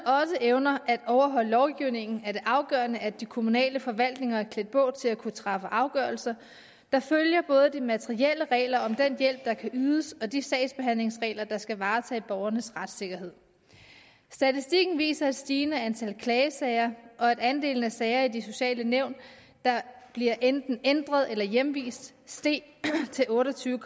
evner at overholde lovgivningen er det afgørende at de kommunale forvaltninger er klædt på til at kunne træffe afgørelser der følger både af de materielle regler om den hjælp der kan ydes og de sagsbehandlingsregler der skal varetage borgernes retssikkerhed statistikken viser et stigende antal klagesager og at andelen af sager i de sociale nævn der bliver enten ændret eller hjemvist steg til otte og tyve